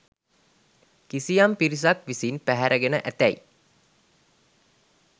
කිසියම් පිරිසක් විසින් පැහැරගෙන ඇතැයි